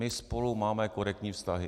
My spolu máme korektní vztahy.